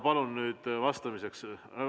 Palun nüüd vastamiseks ...